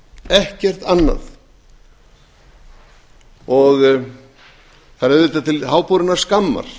ekkert annað það er auðvitað til háborinnar skammar